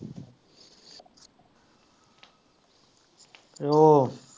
ਅਤੇ ਉਹ